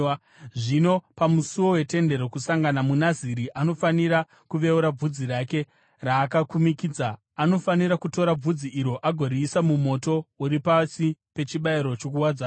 “ ‘Zvino pamusuo weTende Rokusangana, muNaziri anofanira kuveura bvudzi riya raakakumikidza. Anofanira kutora bvudzi iro agoriisa mumoto uri pasi pechibayiro chokuwadzana.